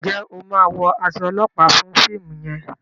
njé o má wọ as olopa fún fíìmù yen?